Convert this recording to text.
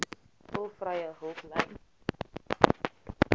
tolvrye hulplyn